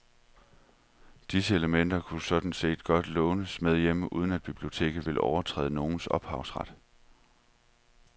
Disse elementer kunne sådan set godt lånes med hjem uden at biblioteket ville overtræde nogens ophavsret.